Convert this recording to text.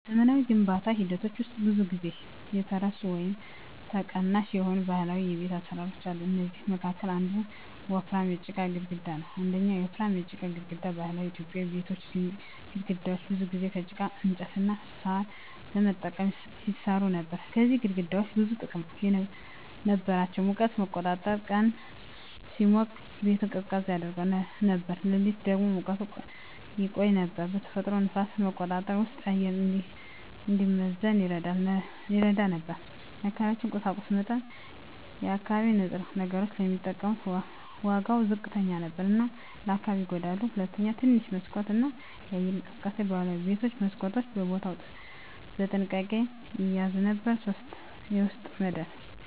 በዘመናዊ የግንባታ ሂደቶች ውስጥ ብዙ ጊዜ የተረሱ ወይም ተቀናሽ የሆኑ ባህላዊ የቤት አሰራሮች አሉ። ከእነሱ መካከል አንዱ ወፍራም የጭቃ ግድግዳ ነው። 1. ወፍራም የጭቃ ግድግዳ በባህላዊ ኢትዮጵያዊ ቤቶች ግድግዳዎች ብዙ ጊዜ ከጭቃ፣ እንጨት እና ሣር በመጠቀም ይሰሩ ነበር። እነዚህ ግድግዳዎች ብዙ ጥቅሞች ነበራቸው፦ ሙቀትን መቆጣጠር – ቀን ሲሞቅ ቤቱን ቀዝቃዛ ያደርገው ነበር፣ ሌሊት ደግሞ ሙቀቱን ያቆይ ነበር። ተፈጥሯዊ ንፋስ መቆጣጠር – ውስጡ አየር እንዲመዘን ይረዳ ነበር። አካባቢያዊ ቁሳቁስ መጠቀም – የአካባቢ ንጥረ ነገሮች ስለሚጠቀሙ ዋጋው ዝቅተኛ ነበር እና ለአካባቢው አይጎዳም። 2. ትንሽ መስኮት እና የአየር እንቅስቃሴ ባህላዊ ቤቶች መስኮቶችን በቦታ በጥንቃቄ ይያዙ ነበር። 3. የውስጥ መደብ